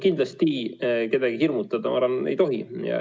Kindlasti kedagi hirmutada, ma arvan, ei tohi.